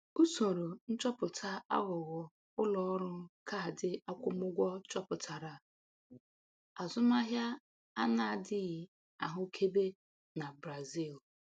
Usoro nchọpụta aghụghọ ụlọ ọrụ kaadị akwụmụgwọ chọpụtara azụmahịa a na-adịghị ahụkebe na Brazil.